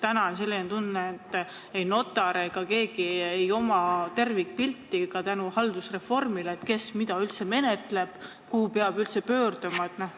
Täna on selline tunne, et ei notaril ega kellelgi ei ole tervikpilti , kes mida üldse menetleb ja kuhu peab pöörduma.